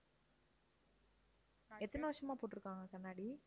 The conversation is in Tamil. எத்தனை வருஷமா போட்டிருக்காங்க கண்ணாடி?